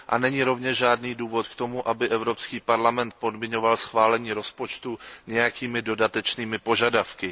Není rovněž žádný důvod k tomu, aby Evropský parlament podmiňoval schválení rozpočtu nějakými dodatečnými požadavky.